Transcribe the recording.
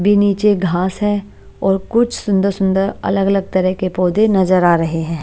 भी नीचे घास है और कुछ सुंदर- सुंदर अलग-अलग तरह के पौधे नजर आ रहे हैं।